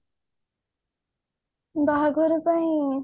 ବାହାଘର ପାଇଁ